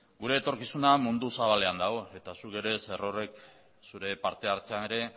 gure etorkizuna mundu zabalean dago eta zuk ere zerorrek zure parte hartzean ere